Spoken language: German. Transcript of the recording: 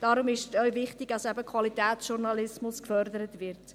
Darum ist es auch wichtig, dass Qualitätsjournalismus gefördert wird.